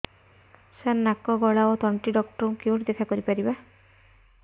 ସାର ନାକ ଗଳା ଓ ତଣ୍ଟି ଡକ୍ଟର ଙ୍କୁ କେଉଁଠି ଦେଖା କରିପାରିବା